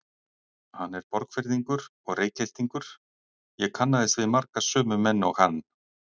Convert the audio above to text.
Hann er Borgfirðingur og Reykhyltingur, ég kannaðist við marga sömu menn og hann.